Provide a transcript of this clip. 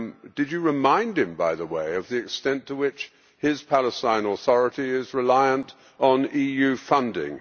Did you remind him, by the way, of the extent to which his Palestinian Authority is reliant on EU funding?